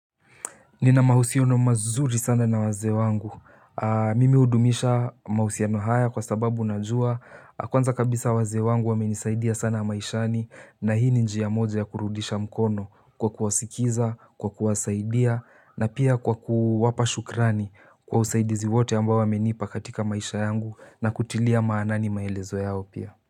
Nina mahusiano mazuri sana na wazee wangu. Mimi hudumisha mahusiano haya kwa sababu najua. Kwanza kabisa wazee wangu wamenisaidia sana maishani nahi ni njia moja ya kurudisha mkono kwa kuwasikiza, kwa kuwasaidia na pia kwa kuwapa shukrani kwa usaidizi wote amba wamenipa katika maisha yangu na kutilia maanani maelezo yao pia.